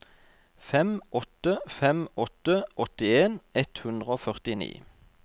fem åtte fem åtte åttien ett hundre og førtini